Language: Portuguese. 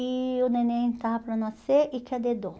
E o neném estava para nascer e cadê dor.